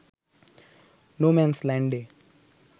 no man's ল্যান্ডে